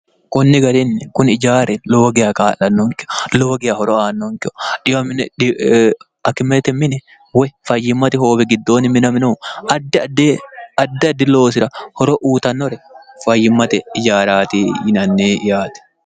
kunni garinni kuni ijaari lowo giya qaa'lannoonke lowogiya horo aannonkeho dhiydhkimete mini woy fayyimmate hoobe giddoonni minaminohu addi addi loosira horo uutannore fayyimmate ijaaraati yinanni yaati